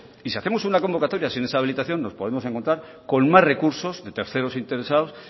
y si hacemos una convocatoria sin esa habilitación nos podemos encontrar con más recursos de terceros interesados